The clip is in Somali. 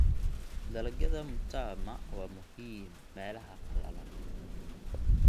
Dalagyada mtama waa muhiim meelaha qalalan.